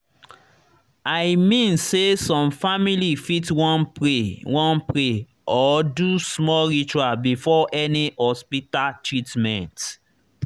i mean say some family fit wan pray wan pray or do small ritual before any hospita treatment